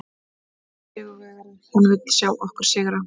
Hann er sigurvegari, hann vill sjá okkur sigra.